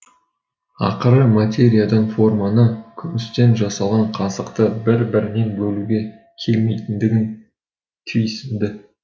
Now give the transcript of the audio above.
ақыры материядан форманы күмістен жасалған қасықты бір бірінен бөлуге келмейтіндігін түйсінді